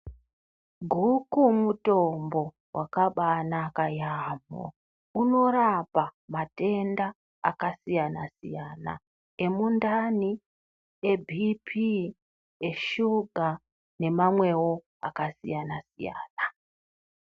Goku mutombo wakabanaka yambo unorapa matenda akasiyana siyana emundani eBP eshuga nemamwewo akasiyana siyana.